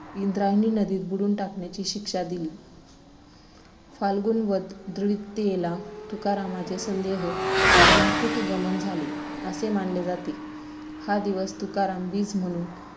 इंद्रायणी नदीत बुडवून टाकण्याची शिक्षा दिली फाल्गुन वद्य द्वितीयेला तुकारामांचे सदेह वैकुंठ-गमन झाले, असे मानले जाते. हा दिवस 'तुकाराम बीज' म्हणून